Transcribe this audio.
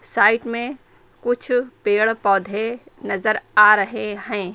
Side में कुछ पेड़ पौधे नजर आ रहे हैं।